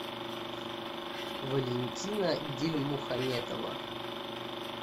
валентина дильмухаметова